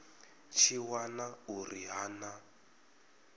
tshi wana uri ha na